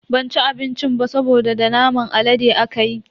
Ban ci abincin ba saboda da naman alade akayi.